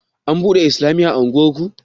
An buɗe islamiya a unguwarku?